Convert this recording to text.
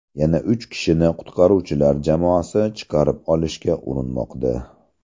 Yana uch kishini qutqaruvchilar jamoasi chiqarib olishga urinmoqda.